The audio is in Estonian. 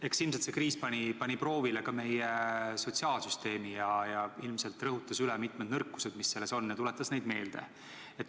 Eks see kriis pani proovile ka meie sotsiaalsüsteemi ning ilmselt rõhutas mitmeid selle nõrku külgi ja tuletas neid meelde.